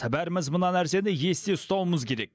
бәріміз мына нәрсені есте ұстауымыз керек